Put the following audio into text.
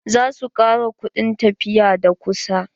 Za su ƙara kuɗin tafiya da kusa.